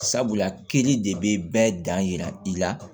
Sabula kiri de bɛ bɛɛ dan yira i la